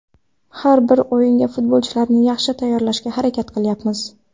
Har bir o‘yinga futbolchilarni yaxshi tayyorlashga harakat qilyapmiz.